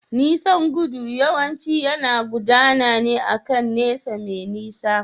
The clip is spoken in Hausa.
Nisan gudu yawanci yana gudana akan nesa mai nisa.